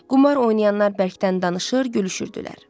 Qumar oynayanlar bərkdən danışır, gülüşürdülər.